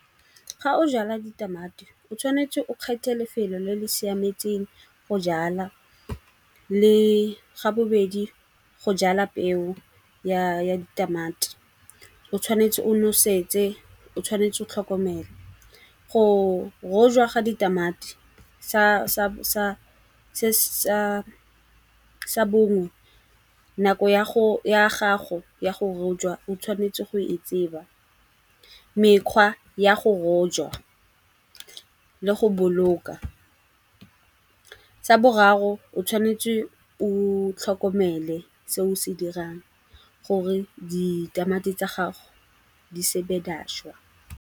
Ga o jala ditamati o tshwanetse o kgethe lefelo le le siametseng go jala le ga bobedi go jala peo ya ditamati. O tshwanetse o nosetse, o tshwanetse go tlhokomela. Go rojwa ga ditamati sa borong. Nako ya gago ya go rojwa o tshwanetse go e tseba, mekgwa ya go rojwa le go boloka. Sa boraro o tshwanetse o tlhokomele se o se dirang gore ditamati tsa gago di sebe di a šwa.